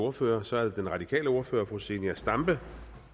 ordfører så er det den radikale ordfører fru zenia stampe